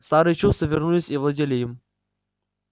старые чувства вернулись и овладели им